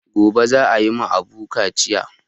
Gobe za ayi ma Abu kaciya